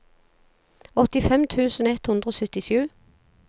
åttifem tusen ett hundre og syttisju